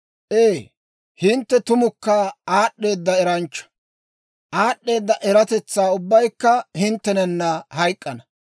«Ee, hintte tumukka aad'd'eedda eranchcha; aad'd'eeda eratetsaa ubbaykka hinttenanna hayk'k'ana!